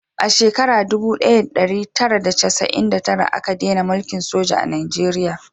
A shekara dubu daya da dari tara da chasa'in da tara a ka dena mulkin soja a najeriya